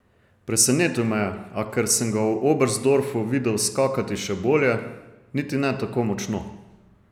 Presenetil me je, a, ker sem ga v Oberstdorfu videl skakati še bolje, niti ne tako močno.